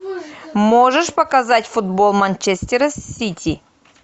можешь показать футбол манчестера с сити